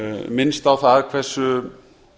minnst á það hversu